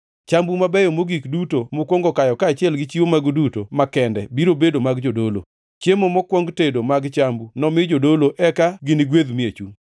Chambu mabeyo mogik duto mukwongo kayo kaachiel gi chiwo magu duto makende biro bedo mag jodolo. Chiemo mokwong tedo mag chambgi nomi jodolo eka ginigwedh miechu.